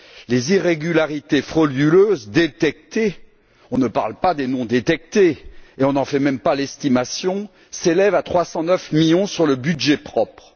Les irrégularités frauduleuses détectées on ne parle pas de celles non détectées et on n'en fait même pas l'estimation s'élèvent à 309 millions d'euros sur le budget propre.